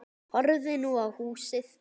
Horfði nú á húsið.